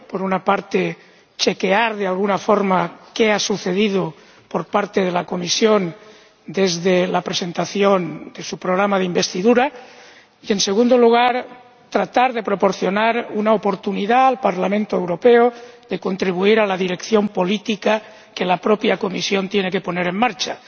Por una parte, chequear, de alguna forma, qué ha sucedido, por parte de la Comisión, desde la presentación de su programa de investidura, y, en segundo lugar, tratar de proporcionar una oportunidad al Parlamento Europeo de contribuir a la dirección política que la propia Comisión tiene que poner en marcha.